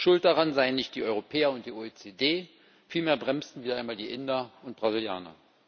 Schuld daran seien nicht die Europäer und die OECD, vielmehr bremsten wieder einmal die Inder und Brasilianer.